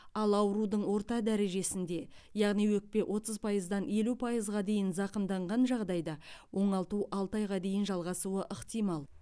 ал аурудың орта дәрежесінде яғни өкпе отыздан елу пайызға дейін зақымданған жағдайда оңалту алты айға дейін жалғасуы ықтимал